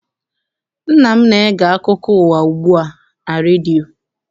Nna m na-ege akụko ụwa ugbu a na redio.